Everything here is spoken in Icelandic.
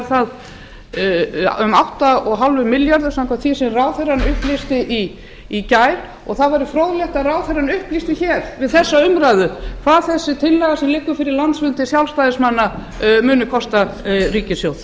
það um átta komma fimm milljarðar samkvæmt því sem ráðherrann upplýsti í gær það væri fróðlegt að ráðherrann upplýsti við þessa umræðu hvað sú tillaga sem liggur fyrir landsfundi sjálfstæðismanna muni kosta ríkissjóð